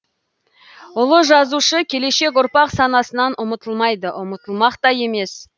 ұлы жазушы келешек ұрпақ санасынан ұмытылмайды ұмытылмақ та емес